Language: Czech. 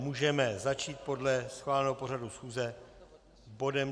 Můžeme začít podle schváleného pořadu schůze bodem